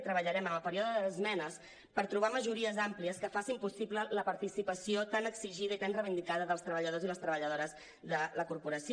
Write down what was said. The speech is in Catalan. i treballarem en el període d’esmenes per trobar majories àmplies que facin pos·sible la participació tan exigida i tan reivindicada dels treballadors i les treballadores de la corporació